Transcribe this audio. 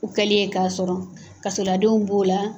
U kɛli ye k'a sɔrɔ, kasoladenw b'o la,